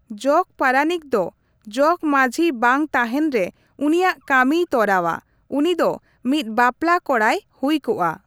ᱡᱚᱜᱽᱯᱟᱨᱟᱱᱤᱠ ᱫᱚ ᱡᱚᱜᱽᱢᱟᱸᱹᱡᱷᱤ ᱵᱟᱝ ᱛᱟᱸᱦᱮᱱ ᱨᱮ ᱩᱱᱤᱭᱟᱜ ᱠᱟᱹᱢᱤᱭ ᱛᱚᱨᱟᱣᱟ ᱾ ᱩᱱᱤᱫᱚ ᱢᱤᱫ ᱵᱟᱯᱞᱟ ᱠᱚᱲᱟᱭ ᱦᱩᱭ ᱠᱚᱜᱼᱟ ᱾